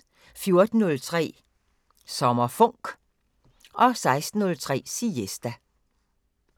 14:03: SommerFonk 16:03: Siesta